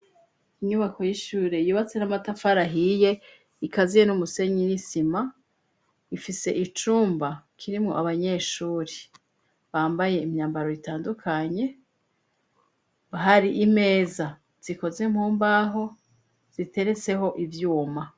Inyubako y'ishure yubatse n'amatafarahiye ikaziye n'umusenyi n'isima ifise icumba kirimwo abanyeshuri bambaye imyambaro ritandukanye bahari imeza zikoze mkumbaho ziteretseho ivyuma.